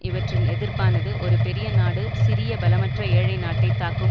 இவற்றின் எதிர்ப்பானது ஒரு பெரிய நாடு சிறிய பலமற்ற ஏழை நாட்டை தாக்கும்